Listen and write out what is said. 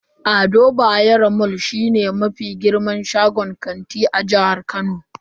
Ado Bayero mall shine mafi girman shagon kanti a jihar Kano.